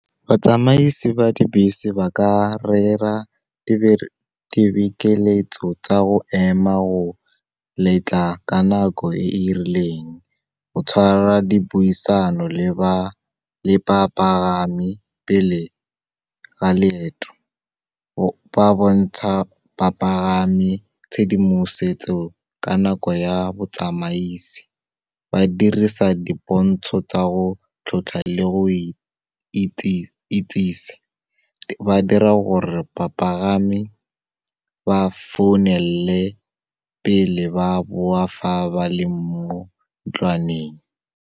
Batsamaisi ba dibese ba ka rera dibekeletso tsa go ema go letla ka nako e e rileng, go tshwara dipuisano le ba bapagami, pele ga leeto. Ba bontsha bapagami tshedimosetso ka nako ya botsamaisi, ba dirisa dipontsho tsa go tlhotlha le go itsise, ba dira gore bapagami ba founele pele ba boa fa ba le mo ntlwaneng.